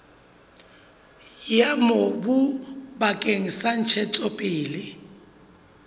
ya mobu bakeng sa ntshetsopele